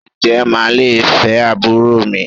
Ǹjẹ́ màá le fẹ́ àbúrò mi?